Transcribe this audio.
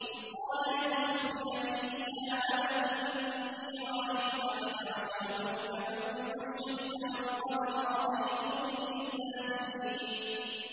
إِذْ قَالَ يُوسُفُ لِأَبِيهِ يَا أَبَتِ إِنِّي رَأَيْتُ أَحَدَ عَشَرَ كَوْكَبًا وَالشَّمْسَ وَالْقَمَرَ رَأَيْتُهُمْ لِي سَاجِدِينَ